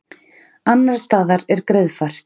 Annars staðar er greiðfært